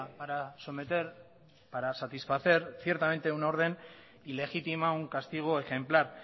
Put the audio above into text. para someter para satisfacer ciertamente una orden ilegítima un castigo ejemplar